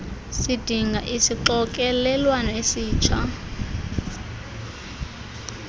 sidinga isixokelelwano esitsha